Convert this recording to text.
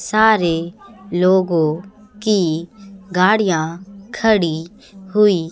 सारे लोगों की गाड़ियां खड़ी हुई--